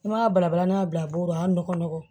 I m'a balabala n'a y'a bila bo a nɔgɔ